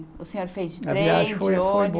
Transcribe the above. O senhor fez de trem, de ônibus?